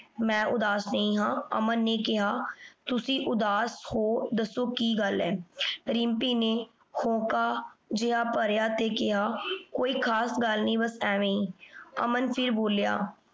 ਮੈਂ ਉਦਾਸ ਨਹੀ ਆਂ ਅਮਨ ਨੇ ਕੇਹਾ ਤੁਸੀਂ ਉਦਾਸ ਹੋ ਦਸੋ ਕੀ ਗਲ ਹੈ ਰਿਮ੍ਪੀ ਨੇ ਹੋਕਾ ਜੇਹਾ ਭਰਿਆ ਤੇ ਕੇਹਾ ਕੋਈ ਖਾਸ ਗਲ ਨਹੀ ਬਾਸ ਐਵੇ ਈ। ਅਮਨ ਫੇਰ ਬੋਲ੍ਯਾ